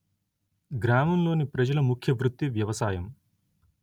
గ్రామం లోని ప్రజల ముఖ్య వృత్తి వ్యవసాయం